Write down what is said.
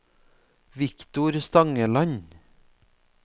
Victor Stangeland